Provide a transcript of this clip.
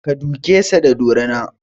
Ka duke sa da dorina!